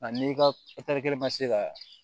A n'i ka kelen ma se ka